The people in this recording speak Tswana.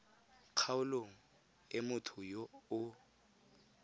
kgaolong e motho yo o